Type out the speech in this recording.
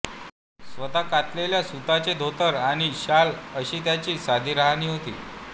स्वतः कातलेल्या सुताचे धोतर आणि शाल अशी त्यांची साधी राहणी होती